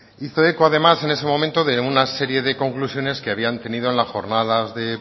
hizo eco además en ese momento de una serie de conclusiones que habían tenido en las jornadas de